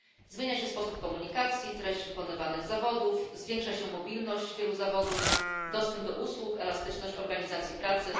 Zmienia się sposób komunikacji, treść wykonywanych zawodów, zwiększa się mobilność wielu zawodów, dostęp do usług, elastyczność organizacji pracy.